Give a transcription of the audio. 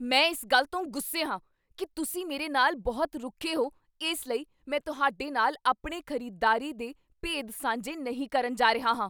ਮੈਂ ਇਸ ਗੱਲ ਤੋਂ ਗੁੱਸੇ ਹਾਂ ਕੀ ਤੁਸੀਂ ਮੇਰੇ ਨਾਲ ਬਹੁਤ ਰੁੱਖੇ ਹੋ ਇਸ ਲਈ ਮੈਂ ਤੁਹਾਡੇ ਨਾਲ ਆਪਣੇ ਖ਼ਰੀਦਦਾਰੀ ਦੇ ਭੇਦ ਸਾਂਝੇ ਨਹੀਂ ਕਰਨ ਜਾ ਰਿਹਾ ਹਾਂ।